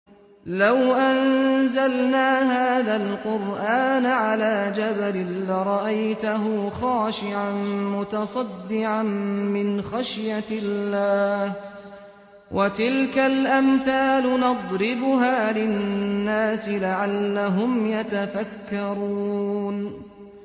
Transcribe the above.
لَوْ أَنزَلْنَا هَٰذَا الْقُرْآنَ عَلَىٰ جَبَلٍ لَّرَأَيْتَهُ خَاشِعًا مُّتَصَدِّعًا مِّنْ خَشْيَةِ اللَّهِ ۚ وَتِلْكَ الْأَمْثَالُ نَضْرِبُهَا لِلنَّاسِ لَعَلَّهُمْ يَتَفَكَّرُونَ